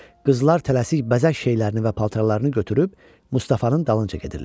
Qızlar tələsik bəzək şeylərini və paltarlarını götürüb Mustafanın dalınca gedirlər.